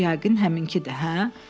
Bu yəqin həminkidir, hə?